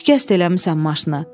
"Şikəst eləmisən maşını.